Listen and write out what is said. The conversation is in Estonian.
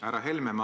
Härra Helme!